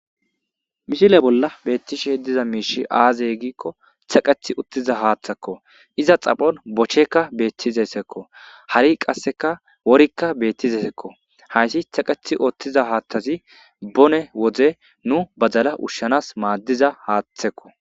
mishile bolla beettishe diza miishi aazey giikko taqeth uttiza haaththakko iza xaphon bochekka beettizessekko hari qasseka worikka beettizesekko hayssi thaqeth oottiza haaththazi bone wode nu bazala ushshanas maaddiza haaththekko